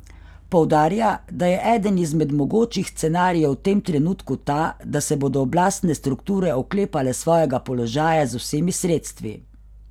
Poudarja, da je eden izmed mogočih scenarijev v tem trenutku ta, da se bodo oblastne strukture oklepale svojega položaja z vsemi sredstvi.